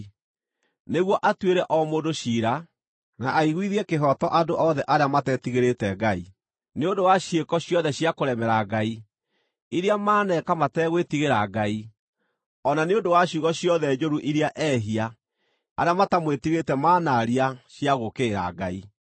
nĩguo atuĩre o mũndũ ciira, na aiguithie kĩhooto andũ othe arĩa matetigĩrĩĩte Ngai, nĩ ũndũ wa ciĩko ciothe cia kũremera Ngai, iria maaneka mategwĩtigĩra Ngai, o na nĩ ũndũ wa ciugo ciothe njũru iria ehia arĩa matamwĩtigĩrĩte manaaria cia gũũkĩrĩra Ngai.”